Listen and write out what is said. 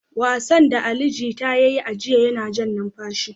Wasan da Ali Jita ya yi a jiya yana jan numfashi.